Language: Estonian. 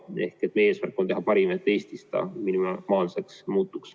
Meie eesmärk on teha Eestis parimat, et haigus minimaalseks muutuks.